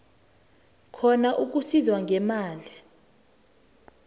khona ukusizwa ngemali